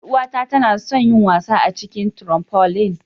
Yar'uwata tana son yin wasa a cikin "trampoline".